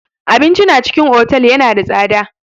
Abinci na cikin otal yana da tsada.